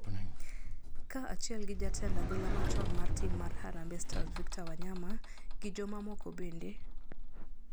ka achiel gi jatend adhula machon mar tim mar harambee stars Victor Wayama, gi jo mamoko bende.